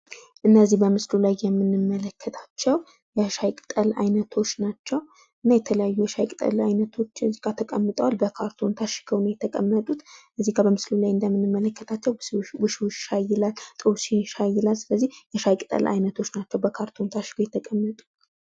እነዚህ በምስሉ ላይ የምንመለከታቸው የሻይ ቅጠል አይነቶች ናቸው። እና የተለያዩ የሻይ ቅጠል አይነቶቹ ከዚህ ጋ ተቀምጠዋል። በካርቶን ታሽገው ነው የተቀመጡት ከዚህ ጋ በምስሉ እንደምንመለከታቸው ውሽ ውሽ ሻይ፣ ጦስኝ ሻይ ይላል። ስለዚህ የሻይ ቅጠል አይነቶቹ ናቸው በካርቶን የተቀመጡ።